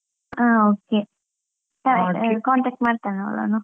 ಹಾ okay ಸರಿ. contact ಮಾಡ್ತೇನೆ ಅವಳನ್ನು.